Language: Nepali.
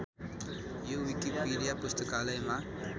यो विकिपिडिया पुस्तकालयमा